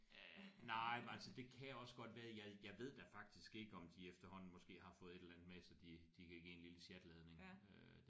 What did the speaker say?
Øh nej men altså det kan jeg også godt være jeg jeg ved da faktisk ikke om de efterhånden måske har fået et eller andet med så de de kan give en lille sjatladning øh